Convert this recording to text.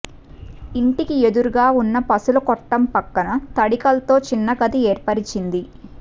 ఇంటికి ఎదురుగా ఉన్న పసులకొట్టం పక్కన తడికల్తో చిన్న గది ఏర్పరచింది